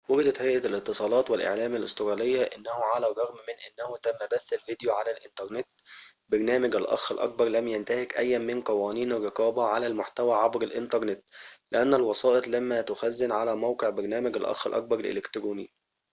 وجدت هيئة الاتصالات والإعلام الأسترالية أنه على الرغم من أنه تم بث الفيديو على الإنترنت برنامج الأخ الأكبر لم ينتهك أياً من قوانين الرقابة على المحتوى عبر الإنترنت لأن الوسائط لما تخزن على موقع برنامج الأخ الأكبر الإلكتروني